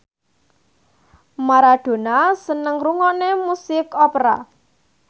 Maradona seneng ngrungokne musik opera